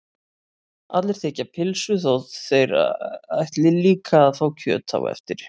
Allir þiggja pylsu þó að þeir ætli líka að fá kjöt á eftir.